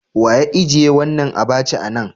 Wa ya ijie wanan abacha a'nan?